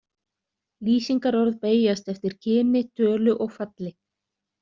Lýsingarorð beygjast eftir kyni, tölu og falli.